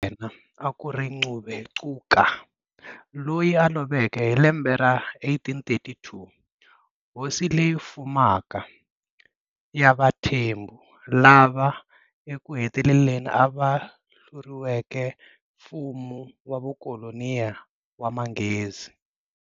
Yena akuri Ngubengcuka, Loyi a lovekeka hi lembe ra 1832,"Hosileyi fumaka" ya vaThembu, lava eku heteleleni va hluriweke mfumo wa vukolonyi wa manghezi.